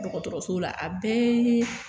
Dɔgɔtɔrɔso la a bɛ